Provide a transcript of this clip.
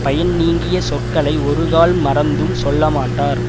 பயன் நீங்கிய சொற்களை ஒருகால் மறந்தும் சொல்லமாட்டார்